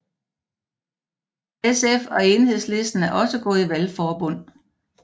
SF og Enhedslisten er også gået i valgforbund